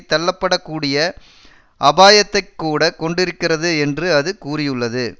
தள்ளப்படக் கூடிய அபாயத்தைக்கூட கொண்டிருக்கிறது என்று அது கூறியுள்ளது